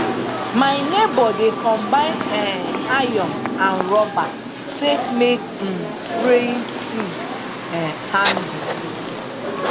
my neibor dey combine um iron and rubber take make um spraying tool um handle